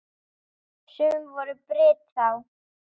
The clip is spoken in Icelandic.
Sum voru birt þá.